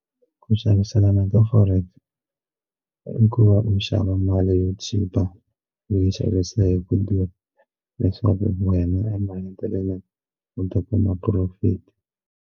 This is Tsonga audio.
Ku xaviselana ka forex i ku va u xava mali yo chipa u yi xavisa hi ku durha leswaku wena emahetelelweni u ta kuma profit.